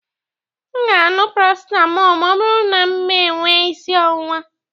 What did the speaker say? M ga- aṅụ paracetamol ma ọ bụrụ na mee enwe isi ọwụwa.